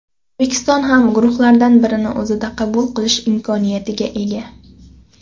O‘zbekiston ham guruhlardan birini o‘zida qabul qilish imkoniyatiga ega.